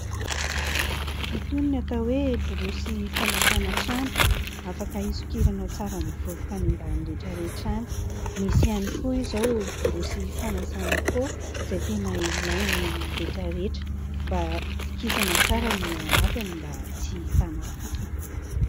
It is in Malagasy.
Itony no atao hoe"borosy famafana trano", afaka hisokiranao tsara ny vovoka any ambany rehetra rehetra any. Misy ihany koa izao"borosy fanasana pô" izay tena ilain'ny rehetra rehetra mba kikisana tsara ny eo anatiny mba tsy hahitana fofona.